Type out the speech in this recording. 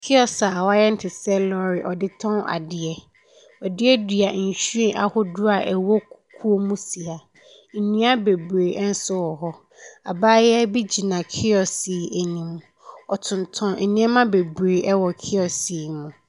Kiosk wayɛ ne te sɛ lɔre adeɛ wɔ duadua nhwiren ahodoɔ a ɛwɔ kukuo mu si ha ndua bebree nso wɔ hɔ abaayaa bi gyina kiosk yɛ anim ɔtonton nneɛma bebree wɔ kiosk yɛ mu.